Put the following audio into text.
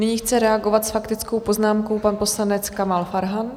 Nyní chce reagovat s faktickou poznámkou pan poslanec Kamal Farhan.